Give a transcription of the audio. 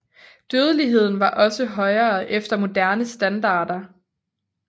Dødeligheden var også højere efter moderne standarder